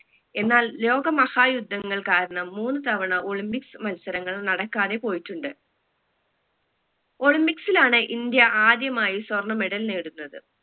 എന്നാൽ ലോക മഹായുദ്ധങ്ങൾ കാരണം മൂന്ന് തവണ olympics മത്സരങ്ങൾ നടക്കാതെ പോയിട്ടുണ്ട് olympics ലാണ് ഇന്ത്യ ആദ്യമായി സ്വർണ medal നേടുന്നത്